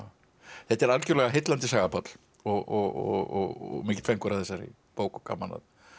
þetta er algjörlega heillandi saga Páll og mikill fengur að þessari bók og gaman að